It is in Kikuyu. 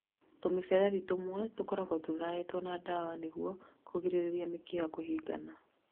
Tũmĩberethi tũmwe tũkoragwo tũthaĩtwo na ndawa nĩguo kũgĩrĩrĩria mĩkiha kũhingĩka